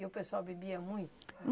E o pessoal bebia muito?